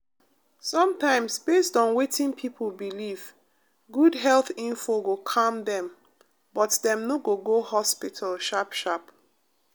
sometimes based on wetin people believe good health info go calm dem but dem no go go hospital sharp-sharp.